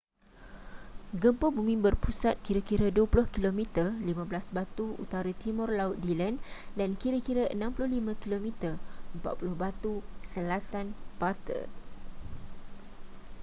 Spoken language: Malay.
gempa bumi berpusat kira-kira 20 km 15 batu utara-timur laut dillon dan kira-kira 65 km 40 batu selatan butte